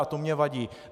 A to mi vadí.